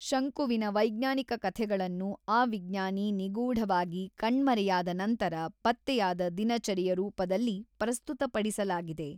ಶಂಕುವಿನ ವೈಜ್ಞಾನಿಕ ಕಥೆಗಳನ್ನು ಆ ವಿಜ್ಞಾನಿ ನಿಗೂಢವಾಗಿ ಕಣ್ಮರೆಯಾದ ನಂತರ ಪತ್ತೆಯಾದ ದಿನಚರಿಯ ರೂಪದಲ್ಲಿ ಪ್ರಸ್ತುತಪಡಿಸಲಾಗಿದೆ.